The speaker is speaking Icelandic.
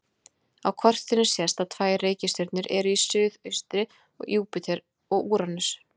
Á kortinu sést að tvær reikistjörnur eru í suðaustri: Júpíter og Úranus.